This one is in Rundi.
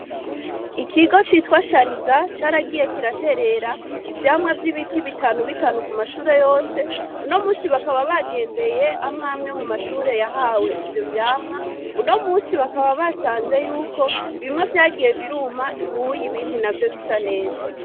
Ikigo citwa Shariza caragiye kiraterera ivyamwa vyibiti bitanu bitanu ku mashure yose, uno munsi bakaba bagendeye amwe amwe mu mashure yahawe ivyo vyamwa uno munsi bakaba basanze yuko bimwe vyagiye biruma ubuye ibindi navyo bisa neza.